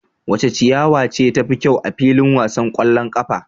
Wace ciyawa ce tafi kyau a filin wasan kwallon kafa?